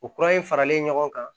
O kura in faralen ɲɔgɔn kan